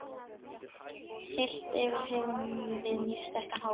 Heilt yfir höfum við mjög sterkan hóp.